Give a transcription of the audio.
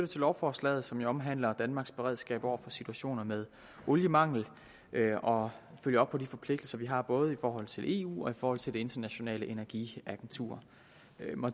til lovforslaget som jo omhandler danmarks beredskab over for situationer med oliemangel og følger op på de forpligtelser vi har både i forhold til eu og i forhold til det internationale energiagentur